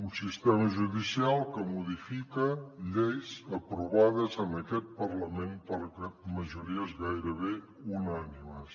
un sistema judicial que modifica lleis aprovades en aquest parlament per majories gairebé unànimes